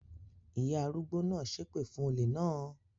Ìyá arúgbó náà ṣépè fún olè náà?